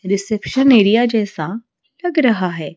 Reception area जैसा लग रहा है।